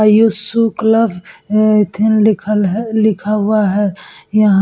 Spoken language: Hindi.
आयुष शू क्लब ए एथीन लिखल है लिखा हुआ है। यहाँ --